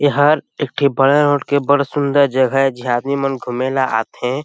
ये हर एक ठि बड़ा रोड के बड़ सुन्दर जगह ए जिहाँ आदमी मन घूमने ल आथे--